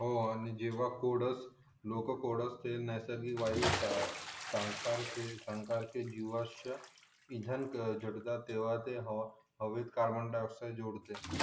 हो आणि जेव्हा कोडस लोक कोडस चे नैसर्गिक वायू जीवाश्य हवेत कार्बन डाईओक्ससाइड जोडते